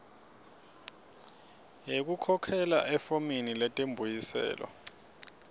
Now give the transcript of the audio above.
yekukhokhela efomini letimbuyiselo